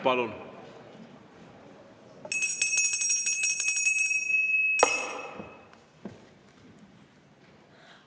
Palun!